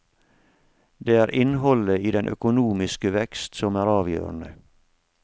Det er innholdet i den økonomiske vekst som er avgjørende.